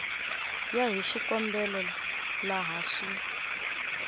ya hi xikombelo laha swi